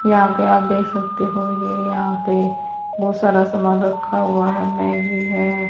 यहां पे आप देख सकते हो ये यहां पे बहुत सारा समान रखा हुआ है मैगी है।